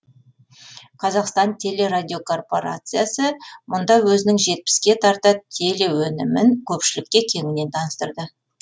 қазақстан телерадиокорпорациясы мұнда өзінің жетпіске тарта телеөнімін көпшілікке кеңінен таныстырды